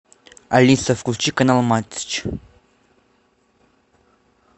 алиса включи канал матч